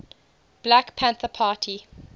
black panther party